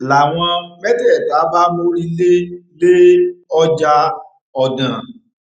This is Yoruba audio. làwọn mẹtẹẹta bá mórí lé lé ọjà ọdàn